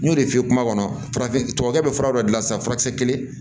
N y'o de f'i ye kuma kɔnɔ farafin tɔ bɛ fura dɔ gilan sa furakisɛ kelen